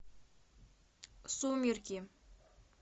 сумерки